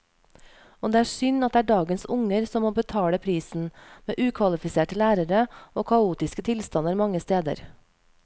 Og det er synd at det er dagens unger som må betale prisen, med ukvalifiserte lærere og kaotiske tilstander mange steder.